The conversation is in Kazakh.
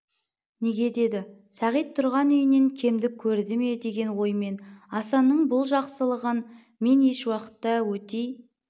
неге деді сағит тұрған үйінен кемдік көрді ме деген оймен асанның бұл жақсылығын мен ешуақытта етей